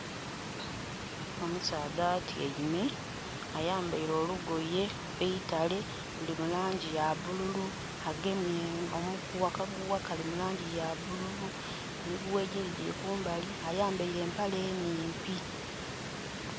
Omusaadha atyaime ayambaire olugoye eitale luli mulangi yabbululu agemye omuguwa, akaguwa kali mulangi yabbululu, emiguwa egindhi giri kumbali ayambaire empere enimpi.